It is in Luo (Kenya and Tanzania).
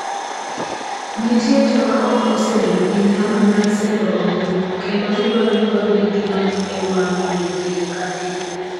Nitie joma ok osebedo gi nyalo mar sero ombulu, kendo gidwaro ni wabed gi ng'anyo e wang' yore pile ka pile.